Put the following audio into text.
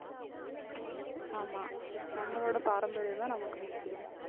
ஆமா நம்மளோட பாரம்பரியம்தான் நமக்கு முக்கியம்.